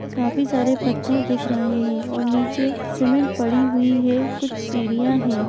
काफी सारे पत्थर दिख रहें हैं और निचे सीमेन्ट पड़ी हुई है कुछ सीढ़ियाँ हैं।